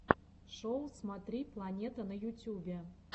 шоу смотри планета на ютюбе